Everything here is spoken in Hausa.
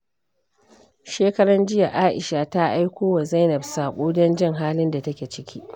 Shekaran jiya, Aisha ta aiko wa Zainab saƙo don jin halin da take ciki.